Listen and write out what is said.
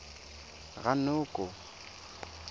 ranoko